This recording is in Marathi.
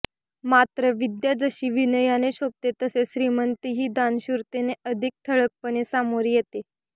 मात्र विद्या जशी विनयाने शोभते तसेच श्रीमंतीही दानशूरतेने अधिक ठळकपणे सामोरी येते